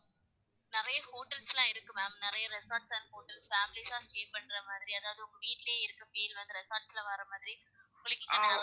நெறைய hotels லாம் இருக்கு ma'am நெறைய resorts and hotels families சா stay பண்ற மாதிரி அதாவது உங்க வீட்லயே இருக்க feel வந்து resort ல வர மாரி உங்களுக்கு.